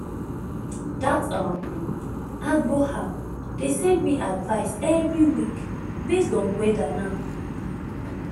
that um agro app dey send me advice every week based on weather now